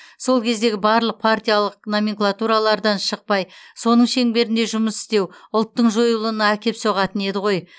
сол кездегі барлық партиялық номенклатуралардан шықпай соның шеңберінде жұмыс істеу ұлттың жойылуына әкеп соғатын еді ғой